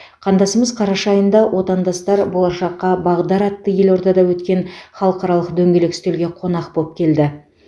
қандасымыз қараша айында отандастар болашаққа бағдар атты елордада өткен халықаралық дөңгелек үстелге қонақ боп келді